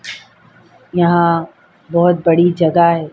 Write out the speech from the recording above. यहाँ बहुत बड़ी जगह है ।